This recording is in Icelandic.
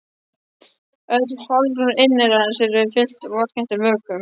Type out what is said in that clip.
Öll holrúm inneyrans eru fyllt vessakenndum vökvum.